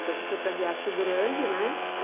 Então, você foi para Riacho Grande, né?